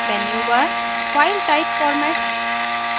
menu bar file type formats